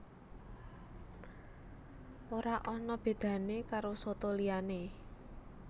Ora ana bedané karo soto liyané